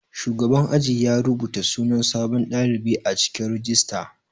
Shugaban aji ya rubata sunan sabon ɗalibi a cikin rijista.